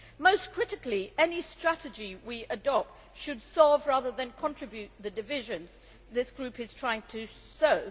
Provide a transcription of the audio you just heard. Most critically, any strategy we adopt should resolve rather than contribute to the divisions this group is trying to sow.